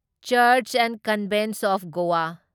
churches and convents of Goa